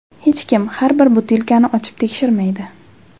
Hech kim har bir butilkani ochib tekshirmaydi.